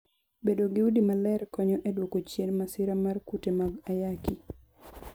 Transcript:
Bedo gi udi maler konyo e dwoko chien masira mar kute mag ayaki.